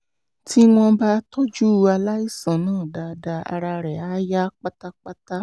tí wọ́n bá tọ́jú aláìsàn náà dáadáa ara rẹ̀ á yá pátápátá